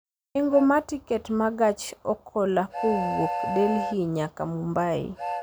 Nengo ma tiket ma gach okolokowuok delhi nyaka mumbai